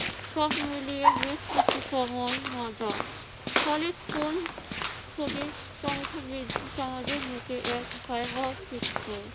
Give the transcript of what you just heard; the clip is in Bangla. সব মিলিয়ে বেশ কিছু সময় মজা। ফলে স্কুল ছুটির সংখ্যা বৃদ্ধি সমাজের বুকে এক ভয়াবহ চিত্র।